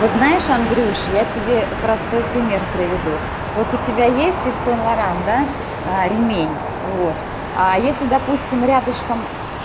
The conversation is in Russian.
знаешь андрюш я тебе простой пример приведу вот у тебя есть ив сен-лоран да ремень вот а если допустим рядышком